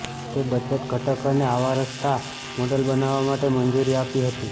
તે બચત ઘટક અને આવા સસ્તા મોડલ બનાવવા માટે મંજૂરી આપી હતી